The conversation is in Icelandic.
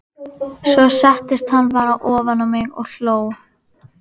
Svo settist hann bara ofan á mig og hló.